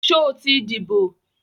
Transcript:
Sọ ti díbò?